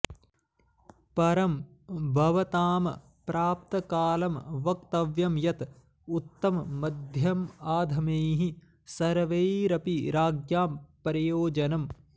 परं भवतां प्राप्तकालं वक्तव्यं यत उत्तममध्यमाधमैः सर्वैरपि राज्ञां प्रयोजनम्